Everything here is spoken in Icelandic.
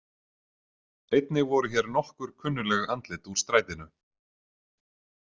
Einnig voru hér nokkur kunnugleg andlit úr strætinu.